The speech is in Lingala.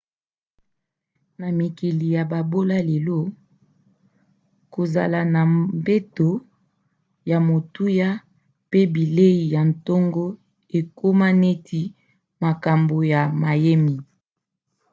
na mikili ya bobola lelo kozala na mbeto ya motuya mpe bilei ya ntongo ekoma neti makambo ya mayemi